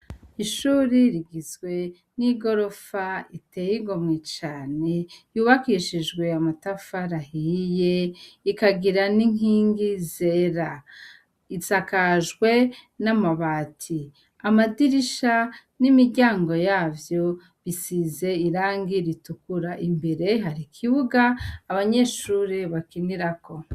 Ishure rigizwe n’igirofa riteye igomwe cane yubakishijwe amatafari ahiye ikagira n’inkingi zera, isakajwe n’amabati, amadirisha, n’imiryango yavyo bisize irangi ritukura. Imbere hari ikibuga abanyeshure bakiniramwo.